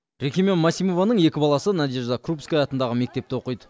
рехимям масимованың екі баласы надежда крупская атындағы мектепте оқиды